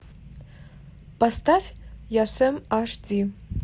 поставь я сем аш ди